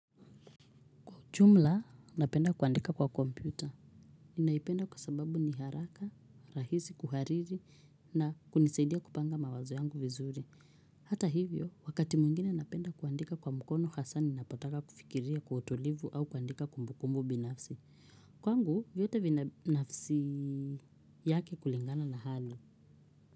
Jumla napenda kuandika kwa kompyuta. Ninaipenda kwa sababu ni haraka, rahisi, kuhariri na kunisaidia kupanga mawazo yangu vizuri. Hata hivyo, wakati mwingine napenda kuandika kwa mkono hasa ninapotaka kufikiria kwa utulivu au kuandika kumbukumbu binafsi. Kwangu, vyote binafsi yake kulingana na hali.